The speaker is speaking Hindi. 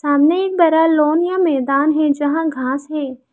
सामने एक बड़ा लान या मैदान है यहां घास है।